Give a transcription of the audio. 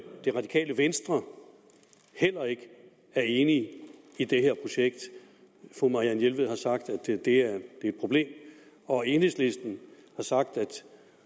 radikale venstre heller ikke er enig i det her projekt fru marianne jelved har sagt at det er et problem og enhedslisten har sagt at